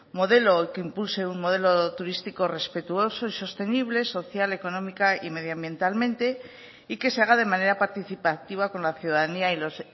modelo que impulse un modelo turístico respetuoso y sostenible social económica y medioambientalmente y que se haga de manera participativa con la ciudadanía y los